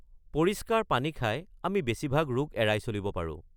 পৰিষ্কাৰ পানী খাই, আমি বেছিভাগ ৰোগ এৰাই চলিব পাৰোঁ।